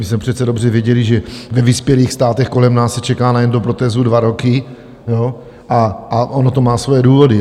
My jsme přece dobře věděli, že ve vyspělých státech kolem nás se čeká na endoprotézu dva roky, a ono to má svoje důvody.